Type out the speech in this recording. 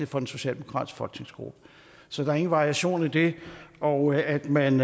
for den socialdemokratiske folketingsgruppe så der er ingen variation i det og at man